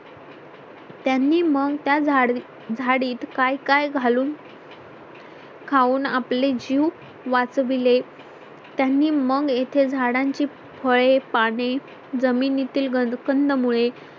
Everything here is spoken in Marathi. त्यांनी मग त्या झाडीत झाडीत काय काय घालून खाऊन आपले जीव वाचविले त्यांनी मग येथे झाडांची फळे पाने, जमिनीतील कंदमुळे